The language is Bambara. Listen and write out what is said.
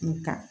Nga